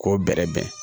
K'o bɛrɛbɛn